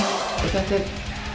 þetta er